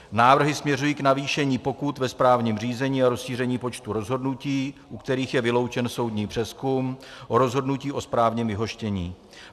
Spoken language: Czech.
Návrhy směřují k navýšení pokut ve správním řízení a rozšíření počtu rozhodnutí, u kterých je vyloučen soudní přezkum, o rozhodnutí o správním vyhoštění.